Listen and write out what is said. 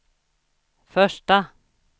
första